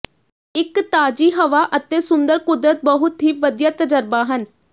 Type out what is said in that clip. ਇਕ ਤਾਜ਼ੀ ਹਵਾ ਅਤੇ ਸੁੰਦਰ ਕੁਦਰਤ ਬਹੁਤ ਹੀ ਵਧੀਆ ਤਜਰਬਾ ਹਨ